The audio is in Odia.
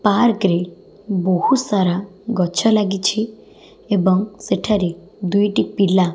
ପାର୍କ ରେ ବହୁତ ସାରା ଗଛ ଲାଗିଛି ଏବଂ ସେଠା ରେ ଦୁଇଟି ପିଲା --